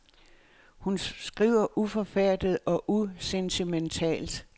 Hun skriver uforfærdet og usentimentalt.